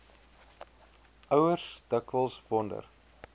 ouers dikwels wonder